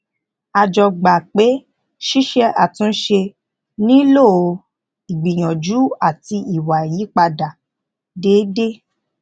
a jọ gbà pé ṣíse àtúnṣe nílò ígbìyànjú àti ìwà ìyípadà déédé